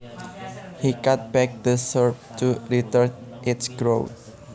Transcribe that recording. He cut back the shrub to retard its growth